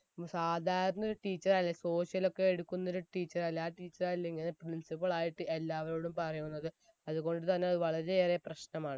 നമ്മ സാധാരണ ഒരു teacher അല്ലെ social ഒക്കെ എടുക്കുന്നൊരു teacher അല്ലെ ആ teacher ആല്ലേ ഇങ്ങനെ principal ആയിട്ട് എല്ലാവരോടും പറയുന്നത് അത് കൊണ്ട് തന്നെ അത് വളരെയേറെ പ്രശ്നമാണ്